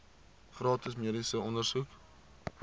gratis mediese ondersoeke